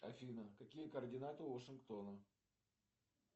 афина какие координаты у вашингтона